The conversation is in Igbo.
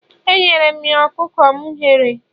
Enyere m ya ọkụkọ m ghere